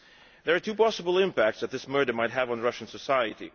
There are two possible impacts that this murder might have on Russian society.